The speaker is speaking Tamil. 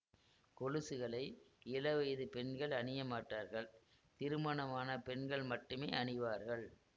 கொலுசுகளை இள வயது பெண்கள் அணிய மாட்டார்கள் திருமணமான பெண்கள் மட்டுமே அணிவார்கள்